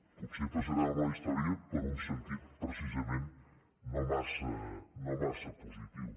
potser passarem a la història per un sentit precisament no massa positiu